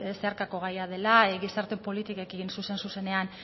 zeharkako gaia dela gizarte politikekin zuzen zuzenean